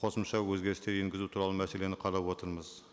қосымша өзгерістер енгізу туралы мәселені қарап отырмыз